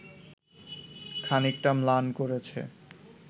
খানিকটা ম্লান করেছে